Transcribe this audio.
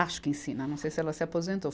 Acho que ensina, não sei se ela se aposentou.